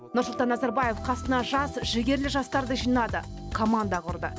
нұрсұлтан назарбаев қасына жас жігерлі жастарды жинады команда құрды